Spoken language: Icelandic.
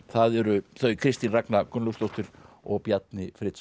það eru þau Kristín Ragna Gunnlaugsdóttir og Bjarni